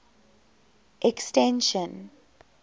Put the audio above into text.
extension